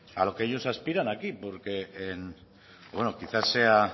a lo que ellos aspiran aquí porque en bueno quizás sea